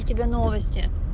у тебя новости